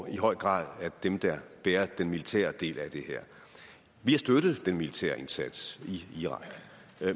er i høj grad dem der bærer den militære del af det her vi har støttet den militære indsats i irak